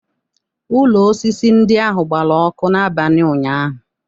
Ụlọ osisi ndị ahụ gbara ọkụ n'abalị ụnyahụ